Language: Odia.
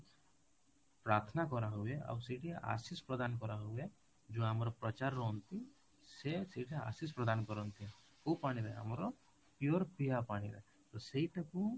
ପ୍ରାର୍ଥନା କରା ହୁଏ ଆଉ ସେଇଠି ଆଶିଷ ପ୍ରଦାନ କରା ହୁଏ ଯୋଉ ଆମର ପ୍ରଜା ରୁହନ୍ତି ସେ ସେଠି ଆଶିଷ ପ୍ରଦାନ କରନ୍ତି କୋଉ ପାଣିରେ ଆମର pure ପିଇବା ପାଣିରେ ତ ସେଇଟା କୁ